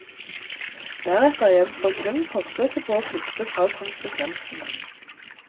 Deretter gjenstår kun forsøket på å flykte fra konsekvensene.